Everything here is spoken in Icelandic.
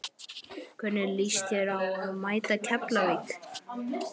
Hvernig lýst þér á að mæta Keflavík?